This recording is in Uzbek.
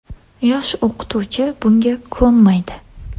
Yosh o‘qituvchi bunga ko‘nmaydi.